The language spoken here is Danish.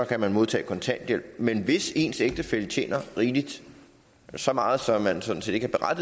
kan man modtage kontanthjælp men hvis ens ægtefælle tjener rigeligt så meget så man sådan set ikke er